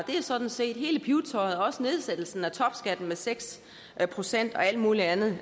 det er sådan set hele pibetøjet også nedsættelsen af topskatten med seks procent og alt muligt andet det